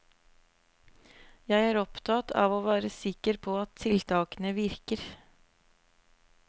Jeg er opptatt av å være sikker på at tiltakene virker.